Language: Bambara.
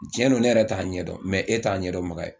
Tiɲɛ don ne yɛrɛ t'a ɲɛ dɔn ,mɛ e t'a ɲɛdɔnbaga ye